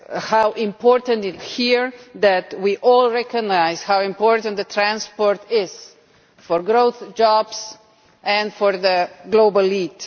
how important it is to hear that we all recognise how important transport is for growth, jobs, and for a global lead.